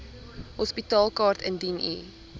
hospitaalkaart indien u